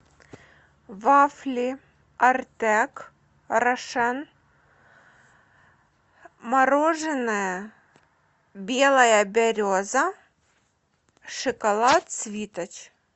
вафли артек рошен мороженое белая береза шоколад свиточ